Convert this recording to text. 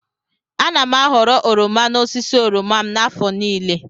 Ana m a ghọrọ oroma n'osisi oroma m n'afọ niile.